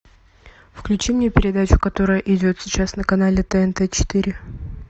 включи мне передачу которая идет сейчас на канале тнт четыре